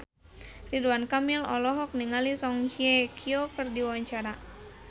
Ridwan Kamil olohok ningali Song Hye Kyo keur diwawancara